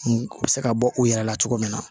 U bɛ se ka bɔ u yɛrɛ la cogo min na